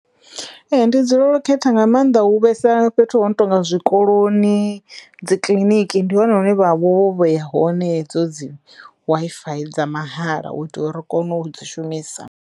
Ee ndi dzulela u khetha nga maanḓa hu vhesa fhethu ho no tonga zwikoloni, dzi kiḽiniki ndi hone hune vha vha vho vheya ya hone hedzo dzi Wi-Fi dza mahala u itela uri ri kono u dzi shumisa.